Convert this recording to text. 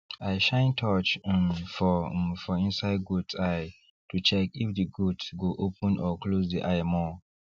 i shine torch um for um for inside goats eye to check if the goat go open or close the eye more